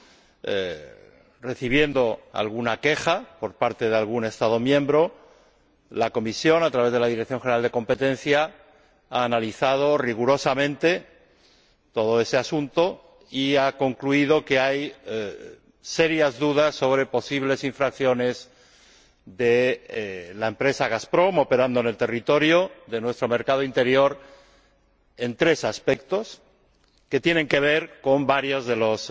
a raíz de la recepción de alguna queja de algún Estado miembro, la Comisión, a través de la Dirección General de Competencia, ha analizado rigurosamente todo ese asunto y ha concluido que hay serias dudas sobre posibles infracciones de la empresa Gazprom en el territorio de nuestro mercado interior en relación con tres aspectos, que tienen que ver con varios de los